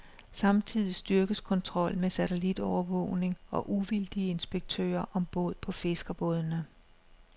Samtidig styrkes kontrollen med satellitovervågning og uvildige inspektører om bord på fiskerbådene.